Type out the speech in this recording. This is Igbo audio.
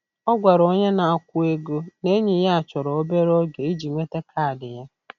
Ọ gwara onye na-akwụ ego na enyi ya chọrọ obere oge iji nweta kaadị ya.